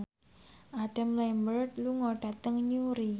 Adam Lambert lunga dhateng Newry